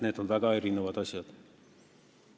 Need on väga erinevad asjad.